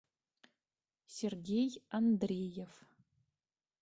сергей андреев